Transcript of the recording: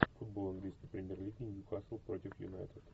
футбол английской премьер лиги ньюкасл против юнайтед